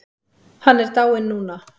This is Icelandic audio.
Hann er dáinn núna.